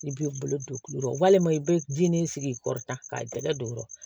I b'i bolo don kulu kɔrɔ walima i bɛ ji nin sigi i kɔrɔ tan k'a jɛgɛ don ɔrɔ